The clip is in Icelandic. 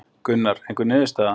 Gunnar: Einhver niðurstaða?